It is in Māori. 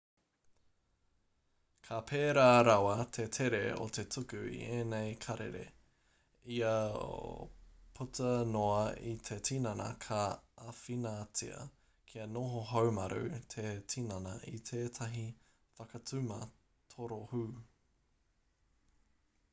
ka pērā rawa te tere o te tuku i ēnei karere io puta noa i te tinana ka āwhinatia kia noho haumaru te tinana i tētahi whakatuma torohū